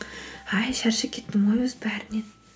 әй шаршап кеттім ғой өзі бәрінен